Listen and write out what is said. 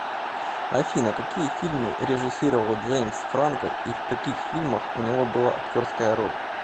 афина какие фильмы режиссировал джеимс франко и в каких фильмах у него была актерская роль